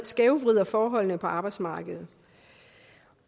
skævvrider forholdene på arbejdsmarkedet